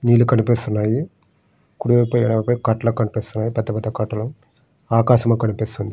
నీళ్లు కనిపిస్తు ఉన్నాయి. కుడి వైపు ఎడమ వైపు కటాల కనిపిస్తున్నాయి. పెద్ద పెద్ద కట్టలు. ఆకాశం కనిపిస్తుంది.